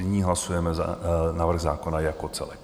Nyní hlasujeme návrh zákona jako celek.